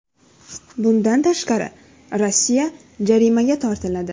Bundan tashqari, Rossiya jarimaga tortiladi.